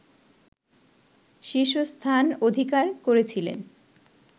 শীর্ষস্থান অধিকার করেছিলেন